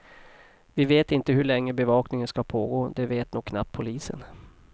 Vi vet inte hur länge bevakningen ska pågå, det vet nog knappt polisen.